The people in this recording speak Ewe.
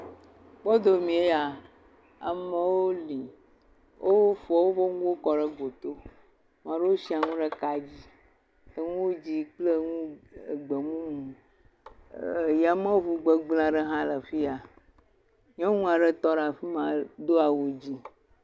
kpɔdomie ya amowo li wófɔ wóƒe ŋuwo kɔɖe goto maɖewo siē ŋu ɖe ka dzi eŋu dzĩ kple eŋu gbemumu yameʋu gbegble aɖe hã le fia , nyɔŋua ɖe tɔɖe fima dó awu dzĩ